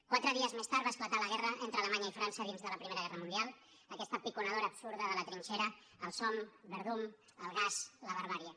quatre dies més tard va esclatar la guerra entre alemanya i frança dins de la primera guerra mundial aquesta piconadora absurda de la trinxera el somme verdun el gas la barbàrie